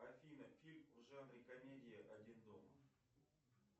афина фильм в жанре комедии один дома